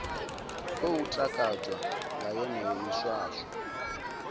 khou takadzwa nga yeneyo miswaswo